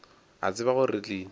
a tseba gore re tlile